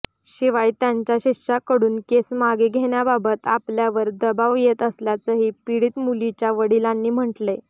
शिवाय त्यांच्या शिष्यांकडून केस मागे घेण्याबाबत आपल्यावर दबाव येत असल्याचंही पीडित मुलीच्या वडिलांनी म्हटलंय